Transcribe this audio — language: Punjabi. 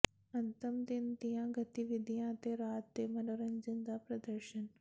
ਅੰਤਮ ਦਿਨ ਦੀਆਂ ਗਤੀਵਿਧੀਆਂ ਅਤੇ ਰਾਤ ਦੇ ਮਨੋਰੰਜਨ ਦਾ ਪ੍ਰਦਰਸ਼ਨ